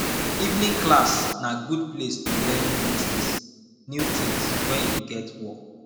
evening class na good place to learn new tins new tins wen you get work